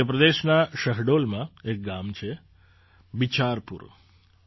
મધ્ય પ્રદેશના શહડોલમાં એક ગામ છે બિચારપુર